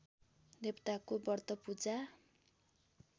देवताको व्रत पूजा